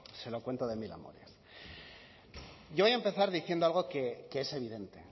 se lo cuento de mil amores yo voy a empezar diciendo algo que es evidente